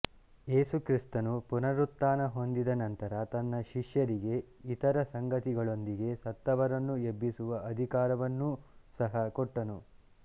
ಯೇಸು ಕ್ರಿಸ್ತನು ಪುನರುತ್ಥಾನ ಹೊಂದಿದ ನಂತರ ತನ್ನ ಶಿಷ್ಯರಿಗೆ ಇತರ ಸಂಗತಿಗಳೊಂದಿಗೆ ಸತ್ತವರನ್ನು ಎಬ್ಬಿಸುವ ಅಧಿಕಾರವನ್ನೂ ಸಹ ಕೊಟ್ಟನು